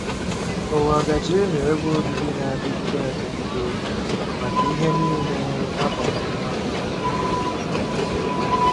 Ụwa gaje ịghọ ebe obibi na-adịgide adịgide maka ihe nile a kpọrọ mmadụ.